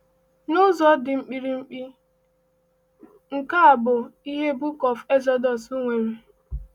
N’ụzọ dị mkpirikpi, nke a bụ ihe Book of Exodus nwere.